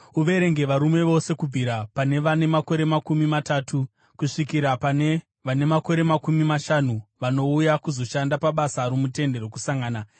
Uverenge varume vose kubvira pane vane makore makumi matatu kusvikira pane vane makore makumi mashanu vanouya kuzoshanda basa romuTende Rokusangana.